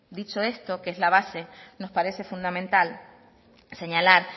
dicho esto que es la base nos parece fundamental señalar